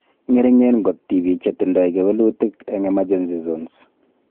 Ng'ering'en kot tibiik chetindoi kewelutik eng emergency zones